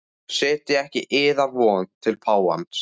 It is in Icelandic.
Setjið ekki yðar von til páfans.